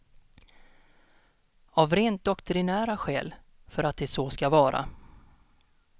Av rent doktrinära skäl, för att det så ska vara.